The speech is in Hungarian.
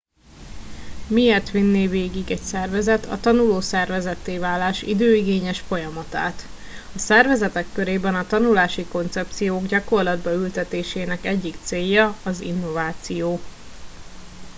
miért vinné végig egy szervezet a tanuló szervezetté válás időigényes folyamatát a szervezetek körében a tanulási koncepciók gyakorlatba ültetésének egyik célja az innováció